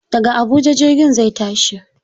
Daga Habuja jirgin zai tashi.